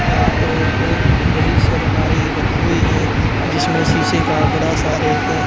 यहां पर एक बड़ी सी अलमारी रखी हुई है जिसमें शीशे का बड़ा सा रेक --